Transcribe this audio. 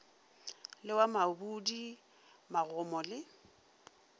le wa mabudi magomo le